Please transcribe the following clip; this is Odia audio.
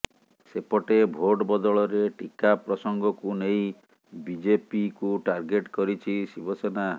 ସେପଟେ ଭୋଟ୍ ବଦଳରେ ଟିକା ପ୍ରସଙ୍ଗକୁ ନେଇ ବିଜେପିକୁ ଟାର୍ଗେଟ୍ କରିଛି ଶିବସେନା